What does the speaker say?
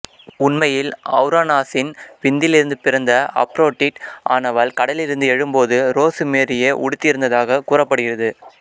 உண்மையில் ஔரானாசின் விந்திலிருந்துப் பிறந்த அப்ரோடிட் ஆனவள் கடலிலிருந்து எழும்போது ரோசு மேரியையே உடுத்தியிருந்ததாகக் கூறப்படுகிறது